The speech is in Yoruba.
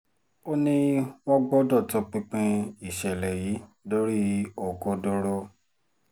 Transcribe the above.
ó ní wọ́n gbọ́dọ̀ tọpinpin ìṣẹ̀lẹ̀ yìí dórí òkodoro